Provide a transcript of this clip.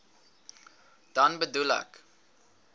dan bedoel ek